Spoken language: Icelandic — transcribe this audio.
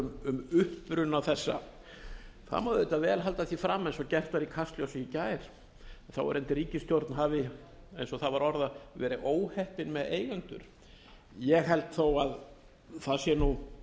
um uppruna þessa það má reyndar halda því fram eins og gert var í kastljósi í gær að þáverandi ríkisstjórn hafi eins og það var orðað verið óheppin með eigendur ég held þó að það sé